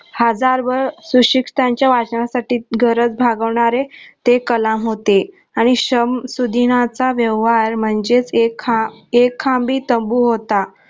हजार वर सुशिक्षितांची वाचण्यासाठी गरज भागवणारे ते कलाम होते आणि श्रम सुधीनाचा व्यवहार म्हणजेच एक खं खांबी तंबू होता.